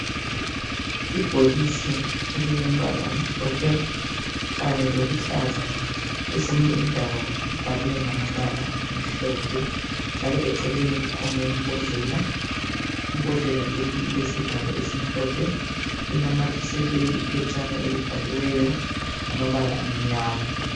Ibhokisi elilombala omhlophe kanye loluhlaza . Kwezinye indawo libhalwe ngamabala amhlophe njalo eceleni kukhona imbodlela. Imbodlela leyi ilesivalo esimhlophe. Inamathiselwe iphetshana elibhaliweyo ngamabala amnyama.